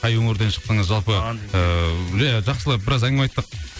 қай өңірден шықтыңыз жалпы ыыы иә жақсылап біраз әңгіме айттық